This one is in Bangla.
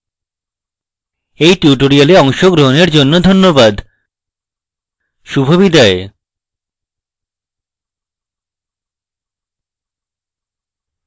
এই tutorial অংশগগ্রহণের জন্য ধন্যবাদ শুভবিদায়